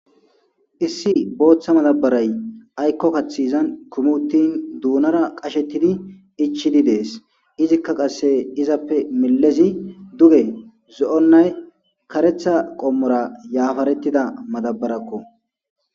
issi booththa matabaray aykko kathi izan kumuttin duunara qashettidi ichidi dees izikka qasse izappe milezi duge zo7onnay karetha qommora yaafarettida matabarakko